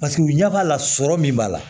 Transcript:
Paseke u ɲɛ b'a la sɔrɔ min b'a la